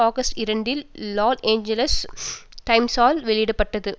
August இரண்டில் Los Angeles டைம்ஸால் வெளியிட பட்டது